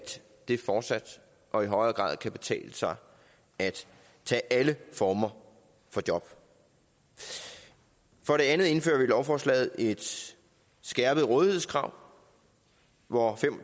det fortsat og i højere grad kan betale sig at tage alle former for job for det andet indfører vi med lovforslaget et skærpet rådighedskrav hvor